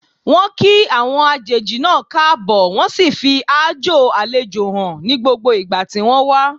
Wọ́n kí àwọn àjèjì náà káàbọ̀, wọ́n sì fi aájò àlejò hàn ní gbogbo ìgbà tí wọ́n wà.